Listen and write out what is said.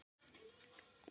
Þetta verður mjög gaman